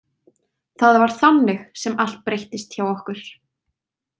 Það var þannig sem allt breyttist hjá okkur.